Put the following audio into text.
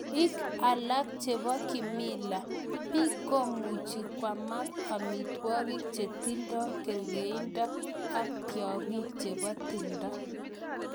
Ik alak cheboo kimila, biik komuj kwamak amitwakik chetindoo kergeindoo ak tyang'ing chebo timndoo.